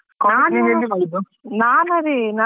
ಎಲ್ಲಿ college ಮಾಡಿದ್ದು?